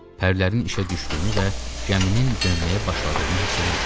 Pərlərin işə düşdüyünü və gəminin dönməyə başladığını hiss eləmirdi.